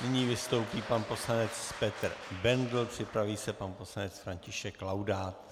Nyní vystoupí pan poslanec Petr Bendl, připraví se pan poslanec František Laudát.